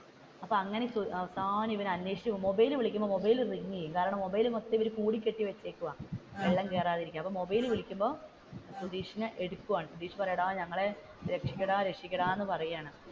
അപ്പോ അങ്ങനെ മൊബൈലിൽ വിളിക്കുമ്പോൾ മൊബൈൽ റിങ് ചെയ്യും കാരണം മൊബൈൽ മൊത്തം ഇവർ മൂടിക്കെട്ടി വെച്ചിരുക്കുവാന്ന് വെള്ളം കേറാതിരിക്കാം അപ്പോ മൊബൈലിൽ വിളിക്കുമ്പോൾ സുതീഷ് എടുക്കുവാണ്‌ സുതീഷ് പറയും എടാ ഞങ്ങളെ രക്ഷിക്കടാ രക്ഷിക്കടാ എന്ന് പറയുകയാണ്.